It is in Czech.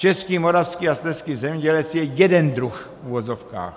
Český, moravský a slezský zemědělec je jeden druh, v uvozovkách.